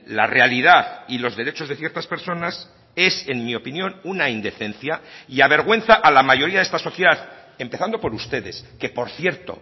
la realidad y los derechos de ciertas personas es en mi opinión una indecencia y avergüenza a la mayoría de esta sociedad empezando por ustedes que por cierto